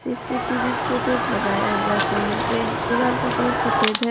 C C TV footage लगाया हुआ है कोन पर दीवाल का कलर सफेद है।